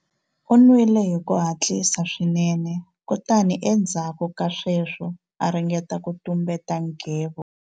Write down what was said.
U nwile hi ku hatlisa swinene kutani endzhaku ka sweswo a ringeta ku tumbeta nghevo.